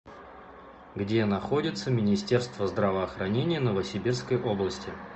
где находится министерство здравоохранения новосибирской области